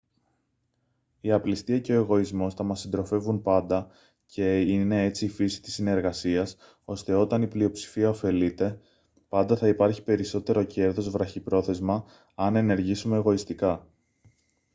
η απληστία και ο εγωισμός θα μας συντροφεύουν πάντα και είναι έτσι η φύση της συνεργασίας ώστε όταν η πλειοψηφία ωφελείται πάντα θα υπάρχει περισσότερο κέρδος βραχυπρόθεσμα αν ενεργήσουμε εγωιστικά